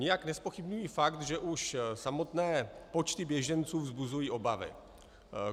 Nijak nezpochybňuji fakt, že už samotné počty běženců vzbuzují obavy.